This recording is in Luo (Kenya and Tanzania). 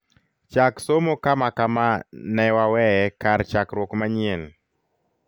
chak somo kama kama ne waweye kar chakruok manyien